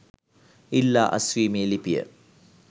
ඉල්ලා අස්වීමේ ලිපිය